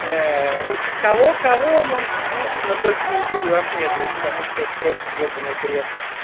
уж кого-кого можете слушать но только не юлию ахметову потому что это просто ёбанный бред